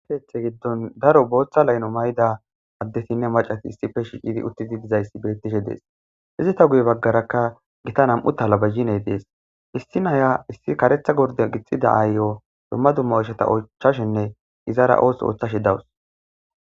Keethe giddon daro booththa layno may7da addetinne macati issife shiiqidi uttidi dizayssi bettishe dees izita guye baggarakka gita nam7u talaba hine dees issinhaya issi karetha gorda gixida aayyo domma dumma osheta ochashenne izara oos ooththashi dawus.